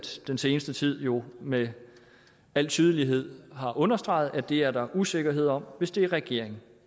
den seneste tid jo med al tydelighed har understreget at det er der usikkerhed om hvis det er regeringen